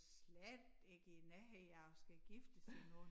Slet ikke i æ nærhed af at skulle giftes endnu